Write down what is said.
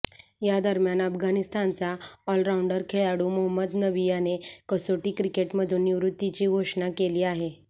या दरम्यान अफगाणिस्तानचा ऑलराऊंडर खेडाळू मोहम्मद नबी याने कसोटी क्रिकेटमधून निवृत्तीची घोषणा केली आहे